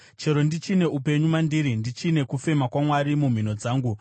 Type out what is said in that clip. chero ndichine upenyu mandiri, ndichine kufema kwaMwari mumhino dzangu,